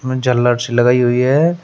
झालर सी लगाई हुई है।